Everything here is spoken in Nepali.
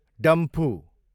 डम्फु